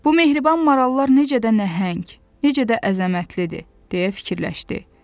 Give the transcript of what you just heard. Bu mehriban marallar necə də nəhəng, necə də əzəmətlidir, deyə fikirləşdi.